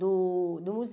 do do